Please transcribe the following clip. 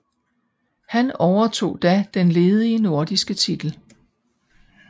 Han overtog da den ledige nordiske titel